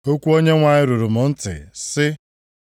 Okwu Onyenwe anyị ruru m ntị, sị,